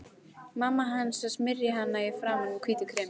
Mamma hans að smyrja hana í framan með hvítu kremi.